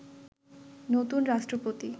নতুন রাষ্ট্রপতি